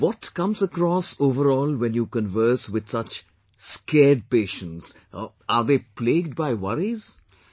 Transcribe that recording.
So what comes across overall when you converse with such scared patients, are they plagued by worries